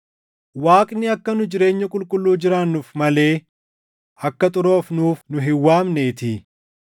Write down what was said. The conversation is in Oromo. Waaqni akka nu jireenya qulqulluu jiraannuuf malee akka xuroofnuuf nu hin waamneetii.